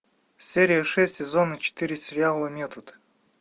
серия шесть сезона четыре сериала метод